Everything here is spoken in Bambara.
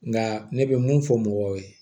Nka ne bɛ mun fɔ mɔgɔw ye